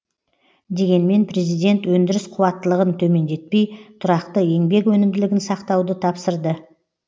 дегенмен президент өндіріс қуаттылығын төмендетпей тұрақты еңбек өнімділігін сақтауды тапсырды